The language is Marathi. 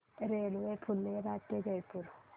रेल्वे फुलेरा ते जयपूर